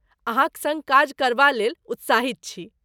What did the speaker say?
अहाँक सड़्ग काज करबालेल उत्साहित छी।